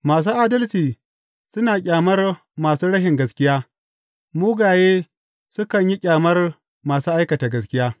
Masu adalci suna ƙyamar masu rashin gaskiya; mugaye sukan yi ƙyamar masu aikata gaskiya.